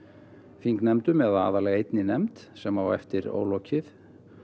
þingnefndum eða aðallega einni nefnd sem á eftir ólokið